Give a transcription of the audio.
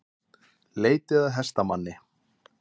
Leitað að hestamanni